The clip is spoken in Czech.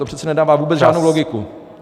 To přece nedává vůbec žádnou logiku.